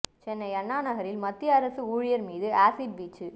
சென்னை அண்ணாநகரில் மத்திய அரசு ஊழியர் மீது ஆசிட் வீச்சு